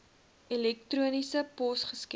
elektroniese pos geskep